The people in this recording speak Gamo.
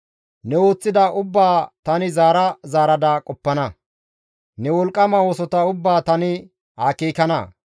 Ne ooththida ubbaa tani zaara zaarada qoppana; ne wolqqama oosota ubbaa tani akeekana.